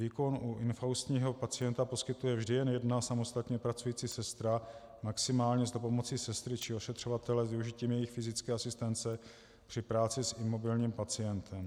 Výkon u infaustního pacienta poskytuje vždy jen jedna samostatně pracující sestra, maximálně s dopomocí sestry či ošetřovatele s využitím jejich fyzické asistence při práci s imobilním pacientem.